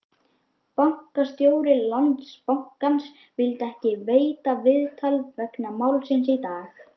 Bankastjóri Landsbankans vildi ekki veita viðtal vegna málsins í dag?